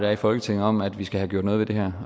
er i folketinget om at vi skal have gjort noget ved det her